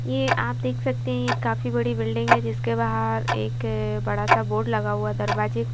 ये आप देख सकते हैं यह काफी बड़ी बिल्डिंग है जिसके बाहर एक बड़ा सा बोर्ड लगा हुआ दरवाजे--